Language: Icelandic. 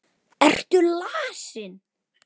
Ertu lasin?